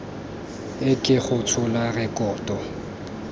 e ke go tshola rekoto